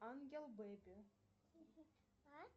ангел бэби